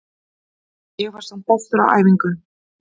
Ég var samt bestur á æfingum.